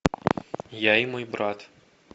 я и мой брат